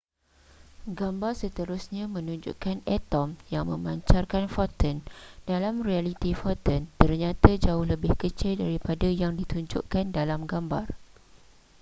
gambar seterusnya menunjukkan atom yang memancarkan foton dalam realiti foton ternyata jauh lebih kecil daripada yang ditunjukkan dalam gambar